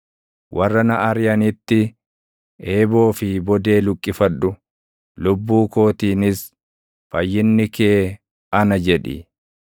Warra na ariʼanitti eeboo fi bodee luqqifadhu. Lubbuu kootiinis, “Fayyinni kee ana” jedhi.